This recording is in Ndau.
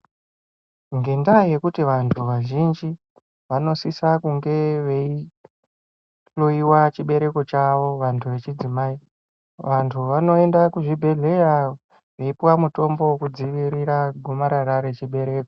Ngendaa yekuti vanthu vazhinji vanosisa kunge veihloyiwa chibereko chavo, vanthu vechidzimai. Vanthu vanoenda kuzvibhedhleya veipuwa mutombo wokudzivirira gomarara rechibereko.